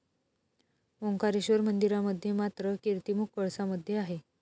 ओंकारेश्वर मंदिरामध्ये मात्र, कीर्तिमुख कळसामध्ये आहे.